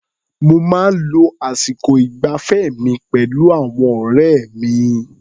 Mo máa ń lo àsìkò ìgbafẹ́ mi pẹ̀lú àwọn ọ̀rẹ́ mi.